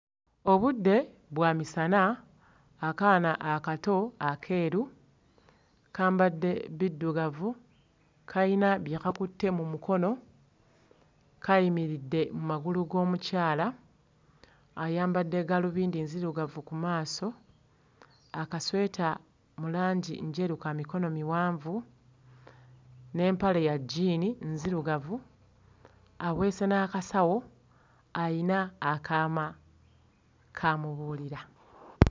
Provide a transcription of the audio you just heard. Obudde bwa misana, akaana akato akeeru kambadde biddugavu, kayina bye kakutte mu mukono, kayimiridde mu magulu g'omukyala, ayambadde gaalubindi enzirugavu ku maaso, akasweta mu langi njeru ka mikono miwanvu, n'empale ya jjiini nzirugavu, aweese n'akasawo ayina akaama k'amubuulira.